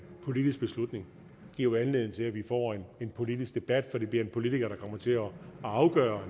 politisk beslutning giver jo anledning til at vi får en politisk debat for det bliver en politiker der kommer til at afgøre